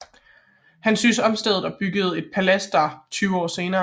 Han syntes om stedet og byggede et palads der tyve år senere